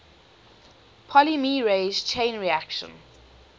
polymerase chain reaction